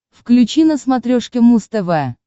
включи на смотрешке муз тв